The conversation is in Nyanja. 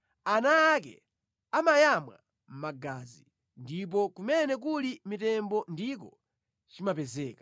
Ana ake amayamwa magazi, ndipo kumene kuli mitembo ndiko chimapezeka.”